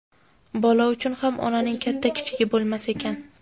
Bola uchun ham onaning katta-kichigi bo‘lmas ekan.